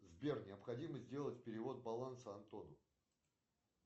сбер необходимо сделать перевод баланса антону